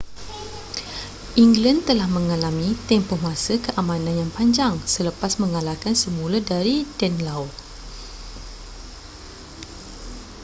england telah mengalami tempoh masa keamanan yang panjang selepas mengalahkan semula dari danelaw